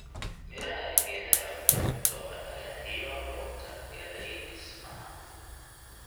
Midhaha ee geedaha waxay kutoa dhagaxyo loogu talagalay dhismaha.